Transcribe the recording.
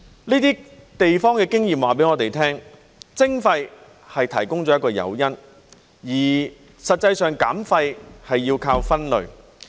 這些地方的經驗告訴我們，徵費提供了一個誘因，而實際上減廢是要靠分類。